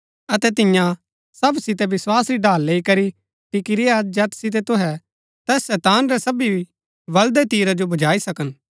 अतै तियां सब सितै विस्वास री ढाल लेई करी टिकी रेय्आ जैत सितै तुहै तैस शैतान रै सबी बळदै तीरा जो बुझाई सकन